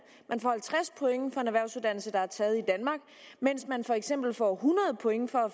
man får halvtreds point for en erhvervsuddannelse der er taget i danmark mens man for eksempel får hundrede point for at